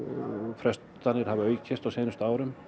frestanir hafa aukist á seinustu árum